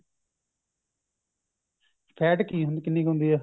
fat ਕਿੰਨੀ ਕ ਹੁੰਦੀ ਐ